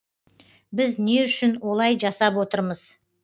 біз не үшін олай жасап отырмыз